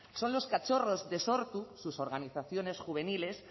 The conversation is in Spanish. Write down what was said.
son los cachorros de sortu sus organizaciones juveniles